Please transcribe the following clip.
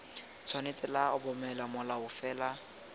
tshwanetse lwa obamela molao fela